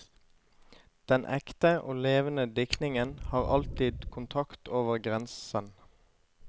Den ekte og levende diktningen har alltid kontakt over grensen.